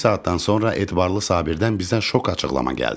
Bir saatdan sonra Etibarlı Sabirdən bizə şok açıqlama gəldi.